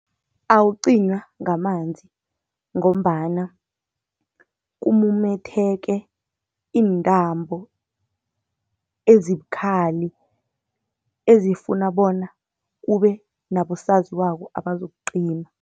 Awucinywa ngamanzi, ngombana kumumetheke iintambo ezibukhali, ezifuna bona kube nabosaziwako abazokucima.